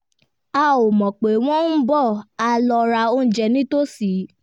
a ò mọ̀ pé wọ́n ń bọ̀ a lọ ra oúnjẹ nítòsí